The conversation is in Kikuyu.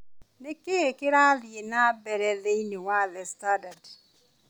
Nĩ kĩĩ kĩrathiĩ na mbere thĩinĩ wa The Standard